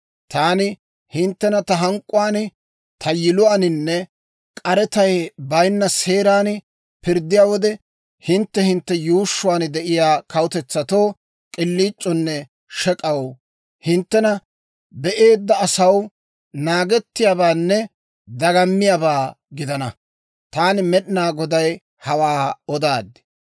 Taani hinttena ta hank'k'uwaan, ta yiluwaaninne k'aretay baynna seeran pirddiyaa wode, hintte hintte yuushshuwaan de'iyaa kawutetsatoo k'iliic'oonne shek'aw, hinttena be'eedda asaw naagettiyaabaanne dagamiyaabaa gidana. Taani Med'inaa Goday hawaa odaad.